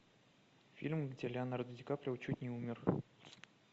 фильм где леонардо ди каприо чуть не умер